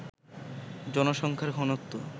জনসংখ্যার ঘনত্ব